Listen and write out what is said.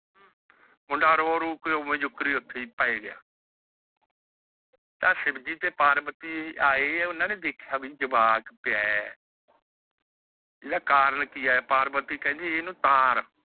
ਮੁੰਡਾ ਰੋ ਰੁ ਕੇ ਉੱਠੇ ਓੰਜ ਹੀ ਪੈ ਗਿਆ। ਤਾਂ ਸ਼ਿਵਜੀ ਤੇ ਪਾਰਵਤੀ ਜੀ ਆਏ ਉਹਨਾਂ ਨੇ ਦੇਖਿਆ ਕਿ ਜਵਾਕ ਪਿਆ ਏ । ਇਹਦਾ ਕਾਰਨ ਕੀ ਐ? ਇਹਨੂੰ ਤਾਰ